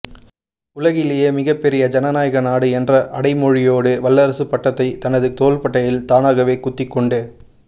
உலகிலேயே மிகப்பெரிய ஜனநாயக நாடு என்ற அடைமொழியோடு வல்லரசு பட்டத்தை தனது தோள்பட்டையில் தானாகவே குத்திக் கொண்டு